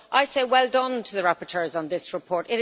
So I say well done to the rapporteurs on this report.